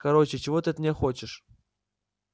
короче чего ты от меня хочешь